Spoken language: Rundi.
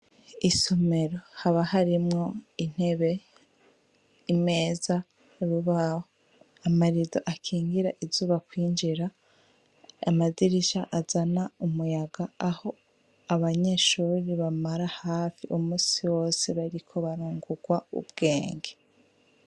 Isomero haba harimwo intebe imeza rubawo amariro akingira izuba kwinjira amazirisha azana umuyaga aho abanyeshuri bamara hafi umusi wose bariko barungurwa ubwenge.